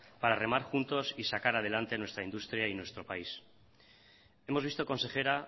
para remar juntos y sacar adelante nuestra industria y nuestro país hemos visto consejera